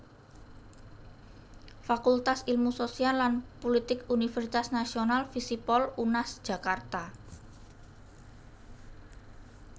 Fakultas Ilmu Sosial lan Pulitik Universitas Nasional Fisipol Unas Jakarta